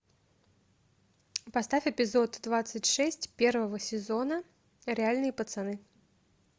поставь эпизод двадцать шесть первого сезона реальные пацаны